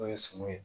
N'o ye sumun ye